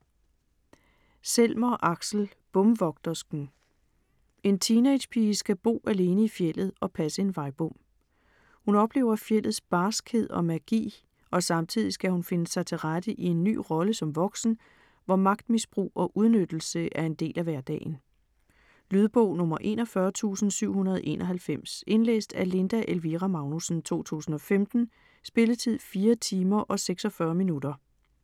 Selmer, Aksel: Bomvogtersken En teenagepige skal bo alene i fjeldet og passe en vejbom. Hun oplever fjeldets barskhed og magi, og samtidig skal hun finde sig til rette i en ny rolle som voksen, hvor magtmisbrug og udnyttelse er en del af hverdagen. Lydbog 41791 Indlæst af Linda Elvira Magnussen, 2015. Spilletid: 4 timer, 46 minutter.